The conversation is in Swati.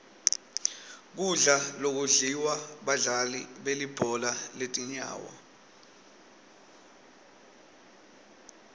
kudla lokudliwa badlali belibhola letinyawo